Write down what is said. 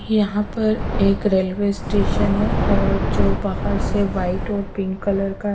यहाँ पर एक रेलवे स्टेशन है और जो बाहर से व्हाईट और पिंक कलर का--